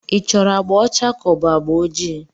Ị chọrọ agbà ọcha ka ọ bụ agba ojii?